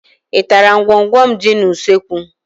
Ị tara ngwọngwọ m dị n'usekwu?